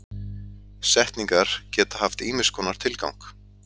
Setningar geta haft ýmiss konar tilgang.